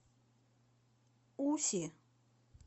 уси